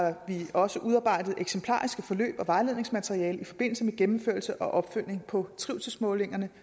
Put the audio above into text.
også udarbejdet eksemplariske forløb og vejledningsmateriale i forbindelse med gennemførelse og opfølgning på trivselsmålingerne